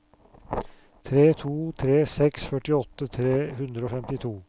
tre to tre seks førtiåtte tre hundre og femtito